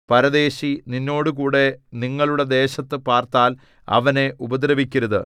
പരദേശി നിന്നോടുകൂടെ നിങ്ങളുടെ ദേശത്തു പാർത്താൽ അവനെ ഉപദ്രവിക്കരുത്